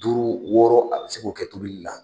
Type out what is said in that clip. Duuru wɔɔrɔ a bɛ se k'o kɛ tobili la.